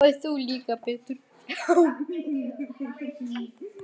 Og þú líka Pétur.